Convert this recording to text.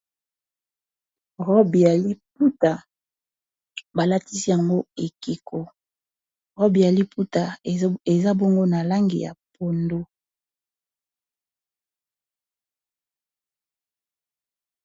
Robi ya liputa balatisi yango ekeko robi ya liputa eza bongo na langi ya pondu.